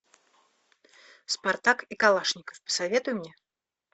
спартак и калашников посоветуй мне